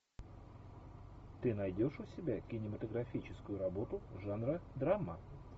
ты найдешь у себя кинематографическую работу жанра драма